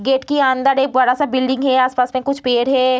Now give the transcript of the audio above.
Gate के अंदर एक बड़ा-सा बिल्डिंग है आस-पास में कुछ पेड़ है।